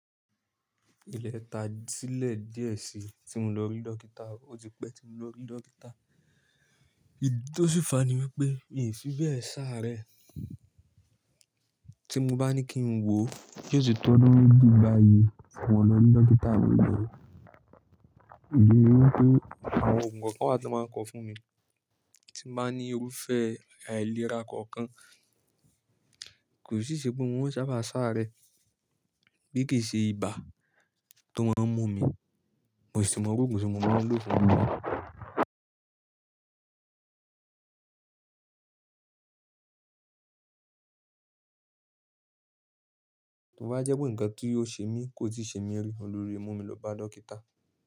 Ilé ta sílẹ̀ díẹ̀ sí tí mo lọ rí dókítà, ó ti pẹ́ tí mo lọ rí dókítà. Ìdí tí ó sì fà á ni wípé mi ò fi bẹ́ẹ̀ sáré. Tí mo bá ní kí n wò, yi o ti tọ́ ọdún méjì báyìí tí mo lọ rí dókítà níbẹ̀. Ìdí ni wípé àwọn òògùn kọ̀ọ̀kan wa tí wọ́n máa ń kọ fún mi. Tí mo bá ní kí n wò, yóò tì tọ́ ọdún méjì báyìí tí mo lọ rí dókítà mi bí kìí ṣe ibà tó máa mú mi, mo sì tún máa ń gba oògùn tí mo máa lò fún ibà tí ó bá jẹ́ pé ǹkan kí ó ṣe mí kò i tí ì ṣe mí rí, òun ni ó lè mú mi lọ bá dókítà.